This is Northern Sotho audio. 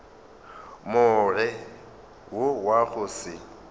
more wo wa go se